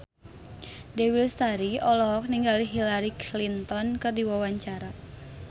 Dewi Lestari olohok ningali Hillary Clinton keur diwawancara